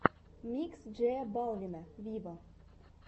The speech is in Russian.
микс джея балвина виво